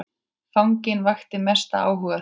Fanginn vakti mestan áhuga þeirra.